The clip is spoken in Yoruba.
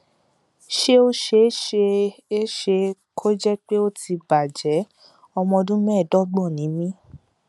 ṣé ó ṣe é ṣe é ṣe kó jẹ pé ó ti bàjẹ ọmọ ọdún mẹẹẹdọgbọn ni mí